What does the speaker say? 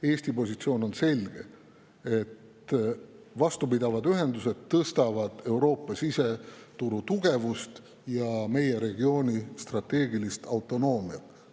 Eesti positsioon on selge: vastupidavad ühendused suurendavad Euroopa siseturu tugevust ja meie regiooni strateegilist autonoomiat.